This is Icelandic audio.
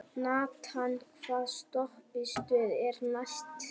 Nathan, hvaða stoppistöð er næst mér?